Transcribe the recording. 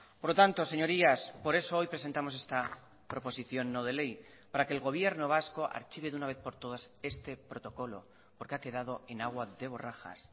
por lo tanto señorías por eso hoy presentamos esta proposición no de ley para que el gobierno vasco archive de una vez por todas este protocolo porque ha quedado en agua de borrajas